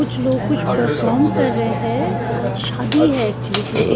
कुछ लोग कुछ परफॉर्म कर रहे हैं अह शादी है एक्चुअली क्योंकि--